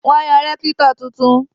Wọ́n yan rẹ́kítọ̀ tuntun